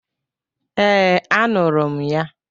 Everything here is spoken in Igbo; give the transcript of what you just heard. Ee, anụrụ m ya.